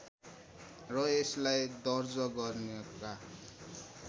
र यसलाई दर्ज गर्नका